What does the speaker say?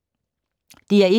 DR1